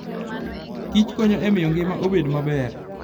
kichkonyo e miyo ngima obed maber.